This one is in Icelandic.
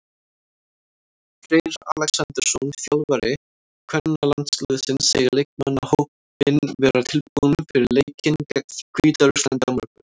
Freyr Alexandersson, þjálfari kvennalandsliðsins, segir leikmannahópinn vera tilbúinn fyrir leikinn gegn Hvíta-Rússlandi á morgun.